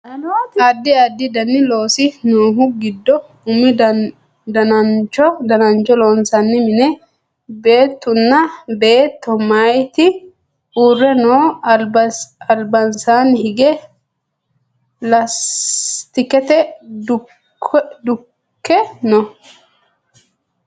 addi addi dani loosi noohu giddo umu danancho loonsanni mine beettunna beetto mayeeti uure no albansaani hige laastikete dukkki no